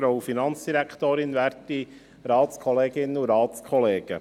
Kommissionspräsident der FiKo.